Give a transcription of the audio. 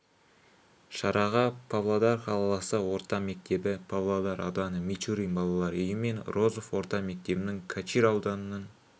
шараға павлодар қаласы орта мектебі павлодар ауданы мичурин балалар үйі мен розов орта мектебінің качир ауданының